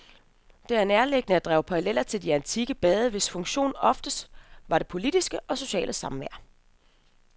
Det er nærliggende at drage paralleller til de antikke bade, hvis funktion ofte var det politiske og sociale samvær.